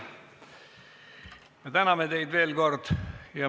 Me täname teid veel kord.